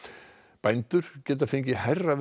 bændur geta fengið hærra verð